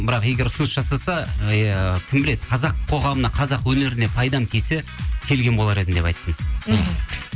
бірақ егер ұсыныс жасаса ыыы кім біледі қазақ қоғамына қазақ өнеріне пайдам тисе келген болар едім деп айттым мхм